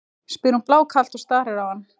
spyr hún blákalt og starir á hann.